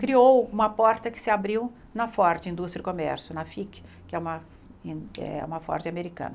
Criou uma porta que se abriu na Ford Indústria e Comércio, na FIC, que é uma eh uma Ford americana.